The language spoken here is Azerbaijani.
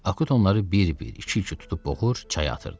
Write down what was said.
Akut onları bir-bir, iki-iki tutub boğur, çaya atırdı.